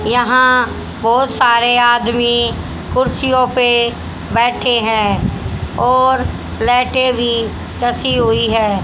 यहाँ बहोत सारे आदमी कुर्सियों पे बैठे हैं और लाइटे भी कसी हुई है।